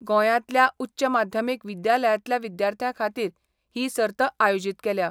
गोयातल्या उच्च माध्यमिक विद्यालयातल्या विद्यार्थ्यांखातीर ही सर्त आयोजित केल्या.